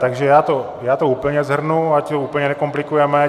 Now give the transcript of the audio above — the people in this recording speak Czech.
Takže já to úplně shrnu, ať to úplně nekomplikujeme.